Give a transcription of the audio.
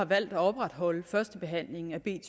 valgt at opretholde førstebehandlingen af b